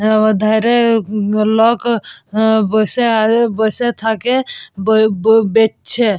লোক বসে বসে থাকে বেচছে।